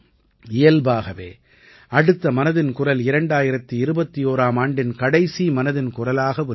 இயல்பாகவே அடுத்த மனதின் குரல் 2021ஆம் ஆண்டின் கடைசி மனதின் குரலாக ஒலிக்கும்